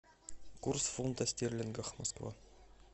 курс фунта стерлингов москва